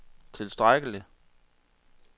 tilstrækkelig